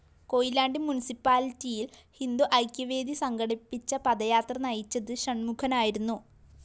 കൊയിലാണ്ടി മുന്‍സിപ്പാലിറ്റിയില്‍ ഹിന്ദു ഐക്യവേദി സംഘടിപ്പിച്ച പദയാത്ര നയിച്ചത് ഷണ്‍മുഖനായിരുന്നു